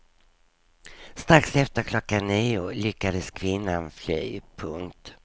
Strax efter klockan nio lyckades kvinnan fly. punkt